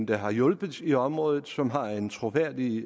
der har hjulpet i området og som har en troværdig